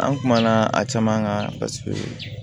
An kumana a caman kan paseke